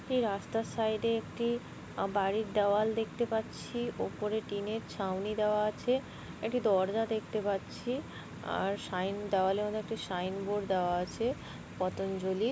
এই রাস্তার সাইডে একটি আহ বাড়ির দেওয়াল পাচ্ছি ওপরে টিনের ছাওনি দেওয়া আছে একটি দরজা দেখতে পাচ্ছি আর সাইন দাওয়ালের মধ্যে সাইনবোর্ড দেওয়া আছে পতঞ্জলির।